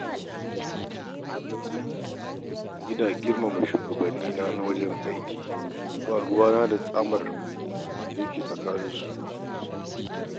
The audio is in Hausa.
Ina girmama shugabannina na wajen aiki, ba ruwana da tsamin alaƙar da ke tsakaninsu.